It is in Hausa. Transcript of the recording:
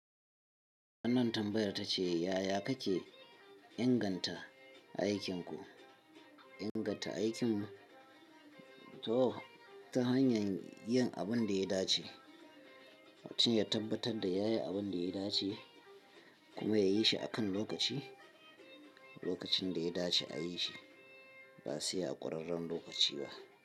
Wannan tambayar ta ce, yaya kake inganta aikinku? Inganta aikin mu ta hanyar yin abin da ya dace, mutum ya tabbatar da yayi abin da ya dace kuma yayi shi a kan lokaci, lokacin da ya dace a yi shi ba sai a ƙurarren lokaci ba.